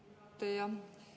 Aitäh, austatud juhataja!